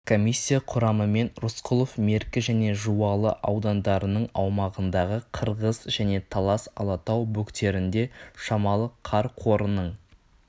комиссия құрамымен рысқұлов меркі және жуалы аудандарының аумағындағы қырғыз және талас алатау бөктерінде шамалы қар қорының